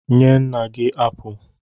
Nye nna gị apụl!